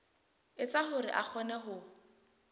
etsa hore a kgone ho